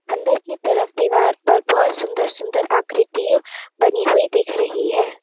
अंदर की तरफ दीवार पर बहोत सुंदर सुंदर आकृति बनी हुई दिख रही है।